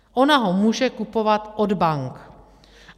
Ona ho může kupovat od bank.